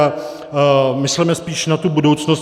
A mysleme spíš na tu budoucnost.